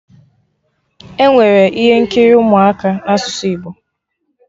Enwere ihe nkiri ụmụaka na asụsụ Igbo